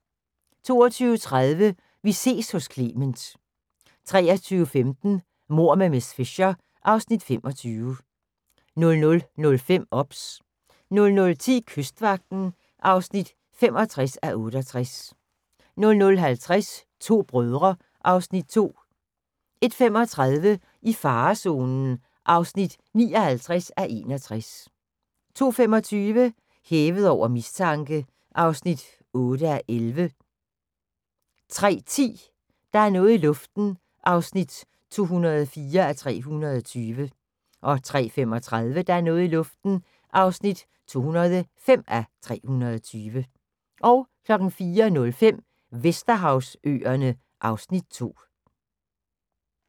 22:30: Vi ses hos Clement 23:15: Mord med miss Fisher (Afs. 25) 00:05: OBS 00:10: Kystvagten (65:68) 00:50: To brødre (Afs. 2) 01:35: I farezonen (59:61) 02:25: Hævet over mistanke (8:11) 03:10: Der er noget i luften (204:320) 03:35: Der er noget i luften (205:320) 04:05: Vesterhavsøerne (Afs. 2)